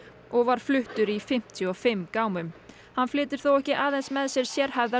og var fluttur í fimmtíu og fimm gámum hann flytur þó ekki aðeins með sér sérhæfðar